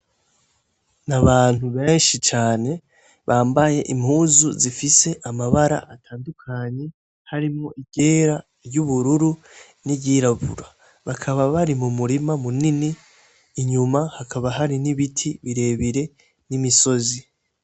N'abantu beshi cane bambaye impuzu zifise amabara atandukanye harimwo iryera iryubururu n'iryirabura. Bakaba bari mumurima munini inyuma hakaba hari n'ibiti birebire n'imisozi